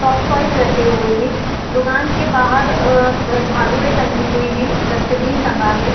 Soft toys रखे हुए हैं दुकान के बाहर झाड़ूये टंगे हुए हैं जस्टबिन टंगा है।